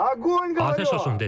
Atəş olsun dedim.